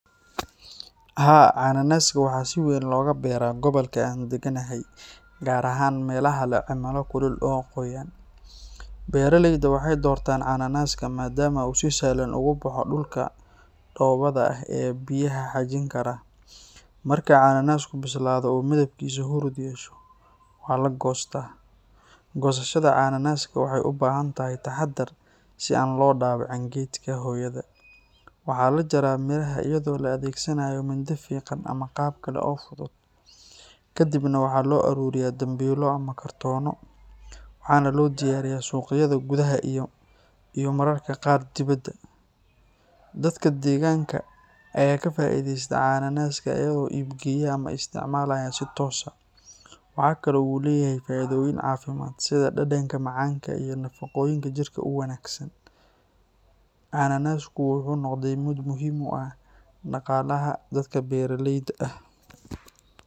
Haa, cananaaska waxa si weyn looga beeraa gobolka aan degganahay, gaar ahaan meelaha leh cimilo kulul oo qoyan. Beeraleyda waxay doortaan cananaaska maadaama uu si sahlan ugu baxo dhulka dhoobada ah ee biyaha xajin kara. Marka cananaasku bislaado oo midabkiisu huruud yeesho, waa la goostaa. Goosashada cananaaska waxay u baahan tahay taxaddar si aan loo dhaawicin geedka hooyada. Waxaa la jaraa midhaha iyadoo la adeegsanayo mindi fiiqan ama qalab kale oo fudud. Kadibna waxaa loo ururiyaa dambiilo ama kartoonno, waxaana loo diyaariyaa suuqyada gudaha iyo mararka qaar dibadda. Dadka deegaanka ayaa ka faa’iideysta cananaaska iyagoo iib geeya ama isticmaalaya si toos ah. Waxa kale oo uu leeyahay faa’iidooyin caafimaad sida dhadhanka macaanka iyo nafaqooyinka jirka u wanaagsan. Cananaasku wuxuu noqday mid muhiim u ah dhaqaalaha dadka beeraleyda ah.